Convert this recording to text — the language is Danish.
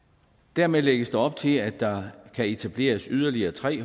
dermed lægges der op til at der kan etableres yderligere tre